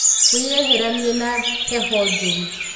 Wĩyeheranie na heho njũru.